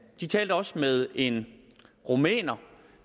de talte også med en rumæner